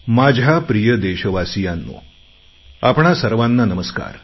माझ्या प्रिय देशवासियांनो आपणा सर्वांना नमस्कार